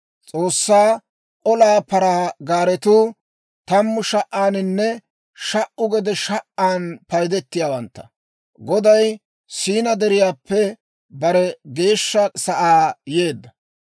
S'oossaa olaa paraa gaaretuu tammu sha"aaninne sha"u gede sha"an paydetiyaawantta; Goday Siinaa deriyaappe bare geeshsha sa'aa yeedda.